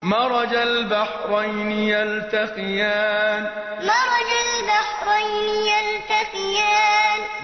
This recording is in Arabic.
مَرَجَ الْبَحْرَيْنِ يَلْتَقِيَانِ مَرَجَ الْبَحْرَيْنِ يَلْتَقِيَانِ